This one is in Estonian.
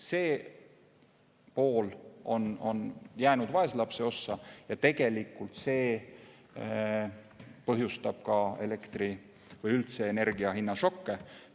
See pool on jäänud vaeslapse ossa ja tegelikult see põhjustabki elektri- või üldse energiahinna šokke.